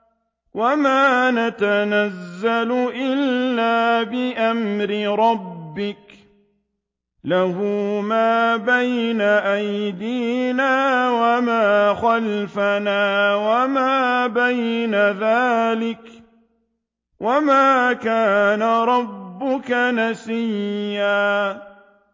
وَمَا نَتَنَزَّلُ إِلَّا بِأَمْرِ رَبِّكَ ۖ لَهُ مَا بَيْنَ أَيْدِينَا وَمَا خَلْفَنَا وَمَا بَيْنَ ذَٰلِكَ ۚ وَمَا كَانَ رَبُّكَ نَسِيًّا